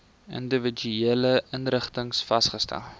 individuele inrigtings vasgestel